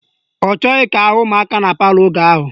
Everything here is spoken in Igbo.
Ọ chọghị ka ahụ ụmụaka na palọ oge ahụ.